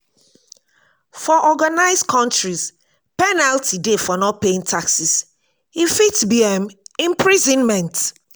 for organised countries penalty dey for not paying taxes e fit be um imprisonment